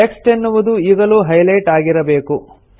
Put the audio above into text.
text ಎನ್ನುವುದು ಈಗಲೂ highlight ಆಗಿರಬೇಕು